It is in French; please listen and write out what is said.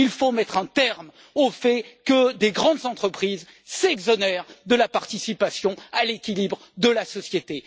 Il faut mettre un terme au fait que des grandes entreprises s'exonèrent de la participation à l'équilibre de la société.